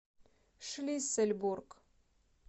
шлиссельбург